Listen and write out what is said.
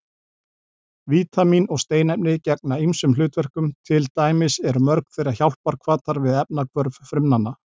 Vítamín og steinefni gegna ýmsum hlutverkum, til dæmis eru mörg þeirra hjálparhvatar við efnahvörf frumnanna.